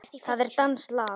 Það er danskt land.